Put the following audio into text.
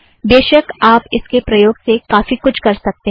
बेशक आप इसके प्रयोग से काफ़ी कुछ कर सकतें हैं